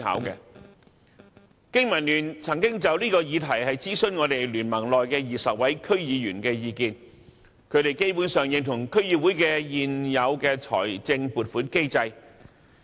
經民聯曾就這議題諮詢聯盟內20位區議員的意見，他們基本上認同區議會的現有財政撥款機制。